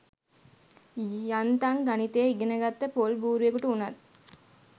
යන්තං ගණිතය ඉගනගත්ත පොල් බූරුවෙකුට උනත්